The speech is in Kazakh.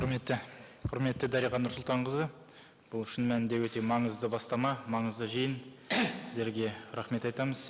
құрметті құрметті дариға нұрсұлтанқызы бұл шын мәнінде өте маңызды бастама маңызды жиын сіздерге рахмет айтамыз